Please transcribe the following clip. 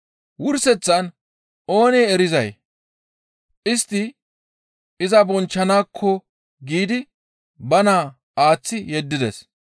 Wurseththan oone erizay, ‹Istti iza bonchchanaakko› giidi ba naa aaththi yeddides.